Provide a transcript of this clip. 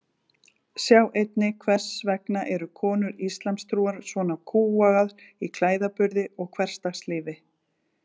Sjá einnig Hvers vegna eru konur íslamstrúar svona kúgaðar í klæðaburði og hversdagslífi?